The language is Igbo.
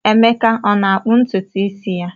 Emeka ọ na-akpụ ntutu isi ya?